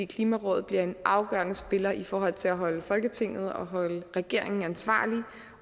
klimarådet bliver en afgørende spiller i forhold til at holde folketinget og regeringen ansvarlig